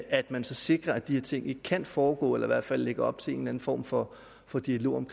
at man så sikrer at de ting ikke kan foregå eller i hvert fald lægger op til en eller en form for for dialog om